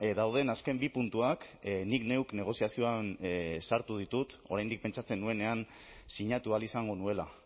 dauden azken bi puntuak nik neuk negoziazioan sartu ditut oraindik pentsatzen nuenean sinatu ahal izango nuela